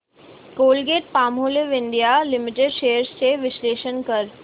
Colgate Palmolive India limited shares चे विश्लेषण कर